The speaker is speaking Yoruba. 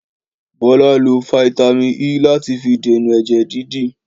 Bọla, lo fítámìn E lati fi dènà ẹjẹ dídì.